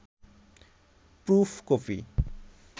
proof copy